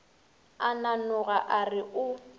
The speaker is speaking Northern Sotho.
a nanoga a re o